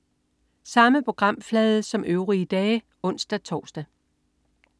Samme programflade som øvrige dage (ons-tors)